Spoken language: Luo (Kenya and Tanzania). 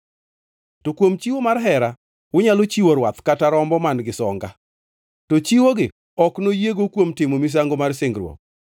To kuom chiwo mar hera unyalo chiwo rwath kata rombo man-gi songa, to chiwogi ok noyiego kuom timo misango mar singruok.